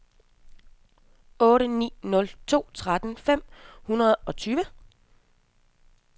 otte ni nul to tretten fem hundrede og tyve